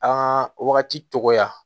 An ka wagati tɔgɔya